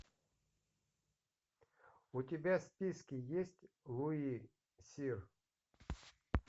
у тебя в списке есть луи сир